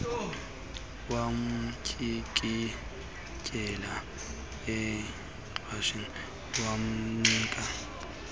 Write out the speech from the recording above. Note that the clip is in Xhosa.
wamtyikityela icheque wamnika